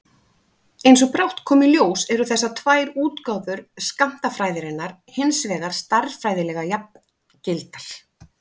Eins og brátt kom í ljós eru þessar tvær útgáfur skammtafræðinnar hins vegar stærðfræðilega jafngildar.